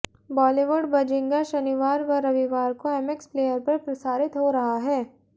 Bollywood Bazinga शनिवार व रविवार को एमएक्स प्लेयर पर प्रसारित हो रहा है